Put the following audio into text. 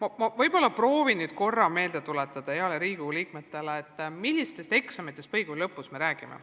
Aga ma võib-olla proovin nüüd veel korra headele Riigikogu liikmetele meelde tuletada, millistest põhikooli lõpus tehtavatest eksamitest me räägime.